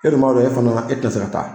E dun b'a dɔn e fana e tɛ se ka taa